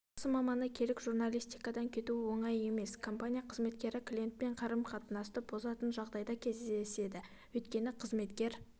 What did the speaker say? жақсы маманы керек журналистикадан кету оңай емес компания қызметкері клиентпен қарым-қатынасты бұзатын дағдайда кездеседі өйткені қызметкер